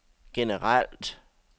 generelt